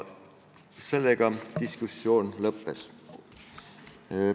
Sellega diskussioon lõppes.